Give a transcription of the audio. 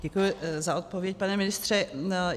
Děkuji za odpověď pane ministře.